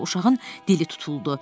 Ancaq uşağın dili tutuldu.